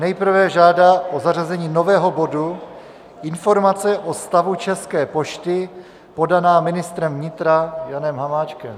Nejprve žádá o zařazení nového bodu Informace o stavu České pošty podaná ministrem vnitra Janem Hamáčkem.